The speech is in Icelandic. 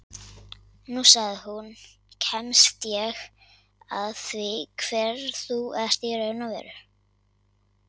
Nú, sagði hún, kemst ég að því hver þú ert í raun og veru